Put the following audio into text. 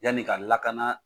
Yanni ka lakana